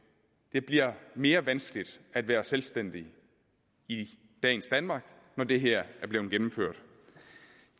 det bliver mere vanskeligt at være selvstændig i dagens danmark når det her er blevet gennemført